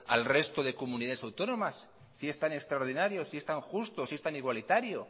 al resto de comunidades autónomas si es tan extraordinario si es tan justo si es tan igualitario